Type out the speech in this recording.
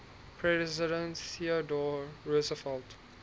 president theodore roosevelt